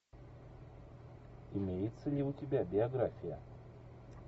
имеется ли у тебя биография